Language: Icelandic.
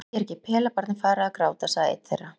Nei, er ekki pelabarnið farið að gráta, sagði einn þeirra.